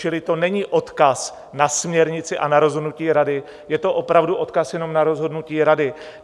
Čili to není odkaz na směrnici a na rozhodnutí Rady, je to opravdu odkaz jenom na rozhodnutí Rady.